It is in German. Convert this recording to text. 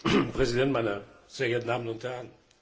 Herr Präsident, meine sehr geehrten Damen und Herren!